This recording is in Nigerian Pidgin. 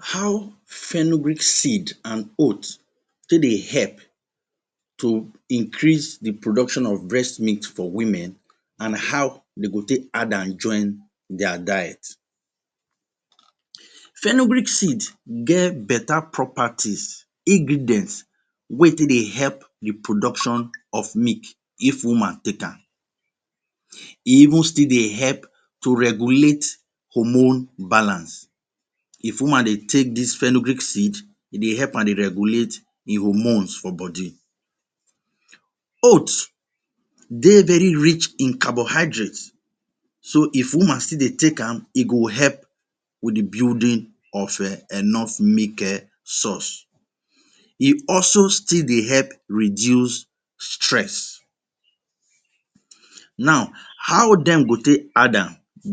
Transcription - Fenugreek Seed and Oat for Breast Milk How Fenugreek Seed and Oat Take Dey Help to Increase the Production of Breast Milk for Women and How Dem Go Take Add Am Join Their Diet Fenugreek seed get better property, ingredients wey e dey take help in the production of milk if woman take am. E even still dey help to regulate the hormone balance. If woman dey take this fenugreek seed, e dey help am maintain the hormones for body. Oat dey very rich in carbohydrates, so if woman still dey take am, e go help in the building of milk source. E also still dey help reduce stress. Now, how dem go take add